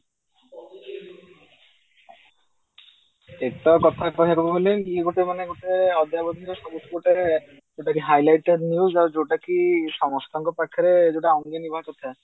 ଏତ କଥା କହିବାକୁ ଗଲେ ମୁଁ ଗୋଟେ ମାନେ ଗୋଟେ ଅଦ୍ୟାବଧି ରେ ଯୋଉଟା କି ସମସ୍ତଙ୍କ ପାଖରେ ଯୋଉଟା ଅଙ୍ଗେ ନିଭା କଥା